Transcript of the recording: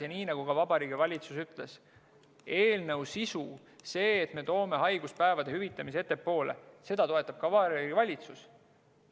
Ja nii nagu ka Vabariigi Valitsus ütles: eelnõu sisu, seda, et me toome haiguspäevade hüvitamise ettepoole, toetab ka Vabariigi Valitsus.